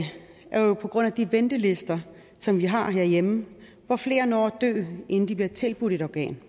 er jo de ventelister som vi har herhjemme hvor flere når at dø inden de bliver tilbudt et organ